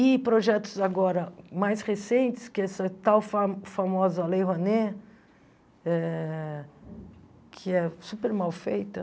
E projetos agora mais recentes, que é essa tal fa famosa Lei Rouanet, eh que é super mal feita.